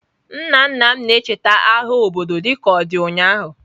Nna nna m ka na-echeta agha obodo dịka ọ dị ụnyahụ.